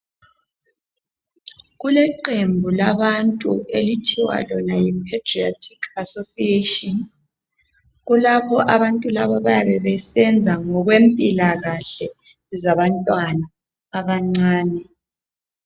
Kuleqembu labantu okuthiwa lona yiPaediatric association bayabe besenza ngokwempilakahle zabantwana abancane.